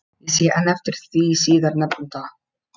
Ég sé enn eftir því síðar nefnda.